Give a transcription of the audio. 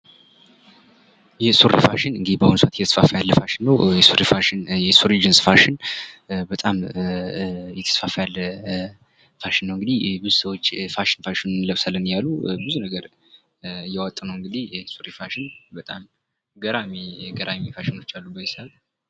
የሱሪ ፋሽን እንግዲህ በአሁኑ ሰአት እየተስፋፋ ያለ ፋሽን ነው። የሱሪ ፋሽን የሱሪ ጅንስ ፋሽን በጣም እየተስፋፋ ያለ ፋሽን ነው እንግዲህ ብዙ ሰዎች ፋሽን እንለብሳለን እያሉ ብዙ ነገር እያወጡ ነው እንግዲህ የሱሪ ፋሽን በጣም ገራሚ ገራሚ ፋሽኖች ያሉበት